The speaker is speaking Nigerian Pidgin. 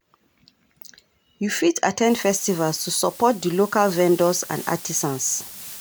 You fit at ten d festivals to support di local vendors and artisans.